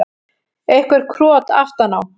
Eitthvert krot aftan á.